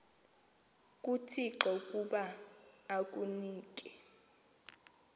kuthixo ukuba akunike